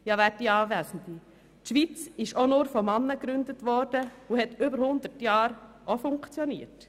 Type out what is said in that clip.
Ja, die Schweiz wurde auch nur von Männern gegründet und hat über 100 Jahre funktioniert.